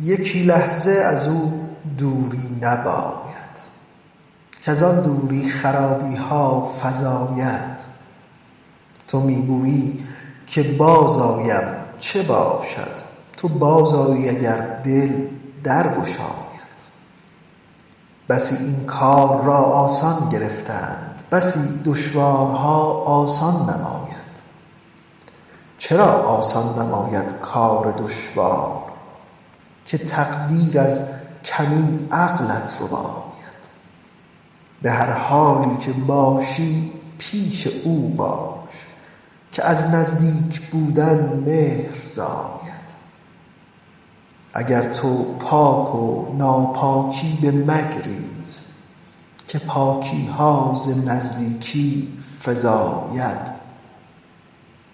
یکی لحظه از او دوری نباید کز آن دوری خرابی ها فزاید تو می گویی که بازآیم چه باشد تو بازآیی اگر دل در گشاید بسی این کار را آسان گرفتند بسی دشوارها آسان نماید چرا آسان نماید کار دشوار که تقدیر از کمین عقلت رباید به هر حالی که باشی پیش او باش که از نزدیک بودن مهر زاید اگر تو پاک و ناپاکی بمگریز که پاکی ها ز نزدیکی فزاید